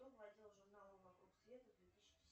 кто владел журналом вокруг света две тысячи